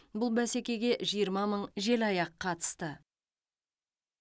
бұл бәсекеге жиырма мың желаяқ қатысты